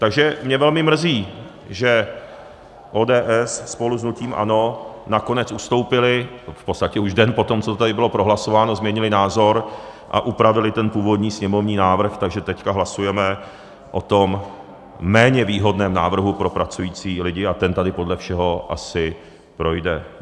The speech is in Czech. Takže mě velmi mrzí, že ODS spolu s hnutím ANO nakonec ustoupily, v podstatě už den potom, co tady bylo prohlasováno, změnily názor a upravily ten původní sněmovní návrh, takže teď hlasujeme o tom méně výhodném návrhu pro pracující lidi a ten tady podle všeho asi projde.